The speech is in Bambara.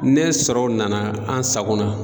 Ne sɔrɔw nana an sagon na